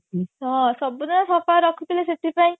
ହଁ ସବୁଦିନ ସଫା ରଖୁଥିଲେ ସେଥିପାଇଁ